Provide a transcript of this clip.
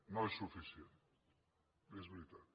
no és suficient és veritat